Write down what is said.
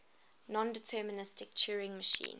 nondeterministic turing machine